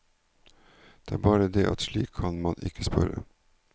Det er bare det at slik kan man ikke spørre.